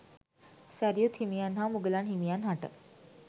සැරියුත් හිමියන් හා මුගලන් හිමියන් හට